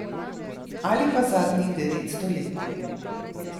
Ali pa zadnjih devetsto let.